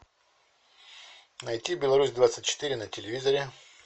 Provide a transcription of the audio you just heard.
найти беларусь двадцать четыре на телевизоре